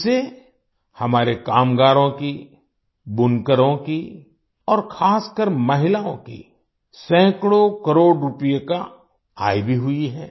इससे हमारे कामगारों की बुनकरों की और खासकर महिलाओं की सैकड़ों करोड़ रुपए की आय भी हुई है